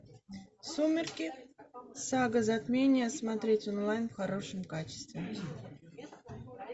сумерки сага затмение смотреть онлайн в хорошем качестве